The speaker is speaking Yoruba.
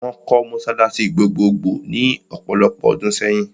Wọ́n kọ́ mọ́sálásí gbogbogbò ní ọ̀pọ̀lopọ̀ ọdún sẹ́yìn.